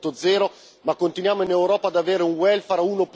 4.0, ma continuiamo in Europa ad avere un welfare